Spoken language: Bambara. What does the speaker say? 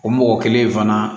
O mɔgɔ kelen in fana